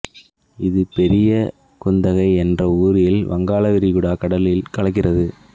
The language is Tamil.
இது பெரியகுத்தகை என்ற ஊரில் வங்காள விரிகுடா கடலில் கலக்கின்றது